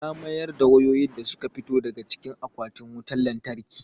Ya mayar da wayoyin da su ka fito daga cikin akwatin wutan lantarki.